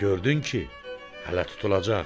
Gördün ki, hələ tutulacaq.